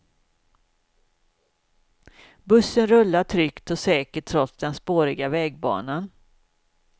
Bussen rullar tryggt och säkert trots den spåriga vägbanan.